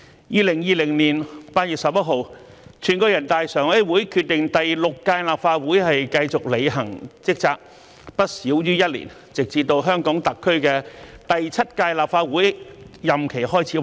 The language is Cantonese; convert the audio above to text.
2020年8月11日，全國人民代表大會常務委員會決定由第六屆立法會繼續履行職責，不少於一年，直至香港特區第七屆立法會任期開始為止。